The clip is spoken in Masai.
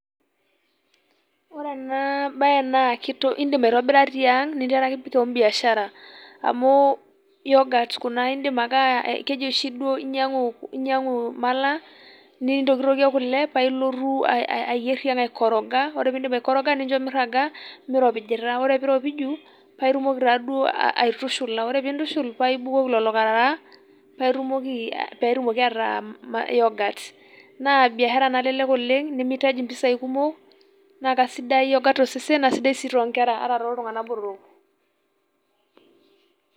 Ore ena bae naa keidim aitobira tiang' ninteraki kewan biashara, amuu iyoga Kuna iidim ake aa keji oshi duo inyiang'u malaa nintokitokie kule paa ilotu ayierr tiang' aikoroga ore pee iidim aikoroga nincho mirraga, meiropijita ore pee iropiju paa itumoki taaduo aitushula ore pee intushul paa ibolukoki lelo Karara paaitumoki peetumoki ataa mm yogat. Naa biashara nalelek oleng' nemeitaji empisai kumok oleng' naa kesidai yogat to sesen naa sidai sii too Nkera ata tooltung'anak botorok.